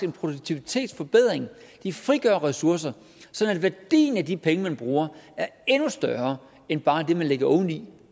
en produktivitetsforbedring de frigør ressourcer sådan at værdien af de penge man bruger er endnu større end bare det man lægger oveni